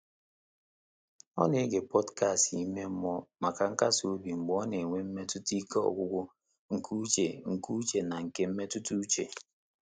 Ọ́ nà-égé pọ́dkástị̀ ímé mmụ́ọ́ màkà nkàsị́ óbí mgbè ọ́ nà-ènwé mmétụ́tà íké ọ́gwụ́gwụ́ nké úchè nké úchè nà nké mmétụ́tà úchè.